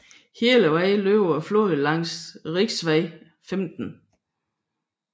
Hele vejen løber floden langs riksvei 15